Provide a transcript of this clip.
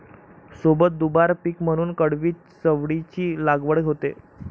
सोबत दुबार पीक म्हणून कडवी चवळीची लागवड होते